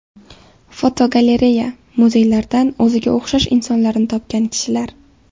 Fotogalereya: Muzeylardan o‘ziga o‘xshash insonlarni topgan kishilar.